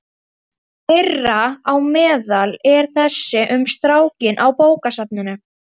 Þeirra á meðal er þessi um strákinn á bókasafninu.